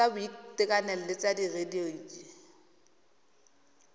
tsa boitekanelo le tsa radioloji